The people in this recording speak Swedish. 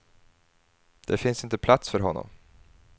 Det finns inte plats för honom.